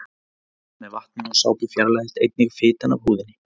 Við þvott með vatni og sápu fjarlægist einnig fitan af húðinni.